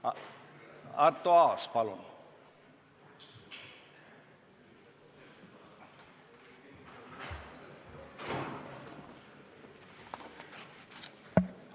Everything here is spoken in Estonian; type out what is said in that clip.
Arto Aas, palun!